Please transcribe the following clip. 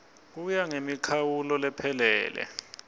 kuya ngemikhawulo lephelele